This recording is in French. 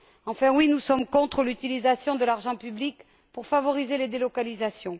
Enfin oui, nous sommes contre l'utilisation de l'argent public pour favoriser les délocalisations.